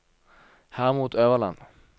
Hermod Øverland